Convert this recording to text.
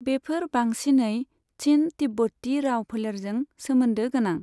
बेफोर बांसिनै चिन तिब्बती राव फोलेरजों सोमोन्दो गोनां।